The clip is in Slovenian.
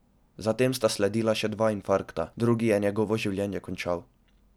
Zatem sta sledila še dva infarkta, drugi je njegovo življenje končal.